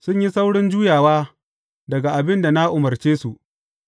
Sun yi saurin juyawa daga abin da na umarce su,